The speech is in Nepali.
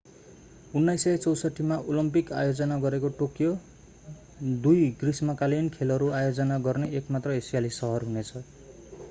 1964मा ओलम्पिक आयोजना गरेको टोकियो दुई ग्रीष्मकालीन खेलहरू आयोजना गर्ने एक मात्र एसियाली सहर हुनेछ